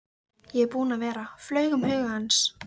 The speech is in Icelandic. Ég er búinn að vera, flaug um huga hans.